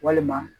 Walima